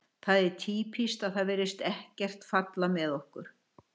Það er týpískt að það virðist ekkert falla með okkur.